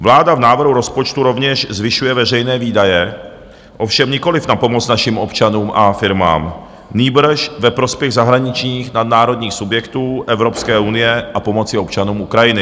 Vláda v návrhu rozpočtu rovněž zvyšuje veřejné výdaje, ovšem nikoliv na pomoc našim občanům a firmám, nýbrž ve prospěch zahraničních nadnárodních subjektů Evropské unie a pomoci občanům Ukrajiny.